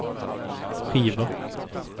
skiva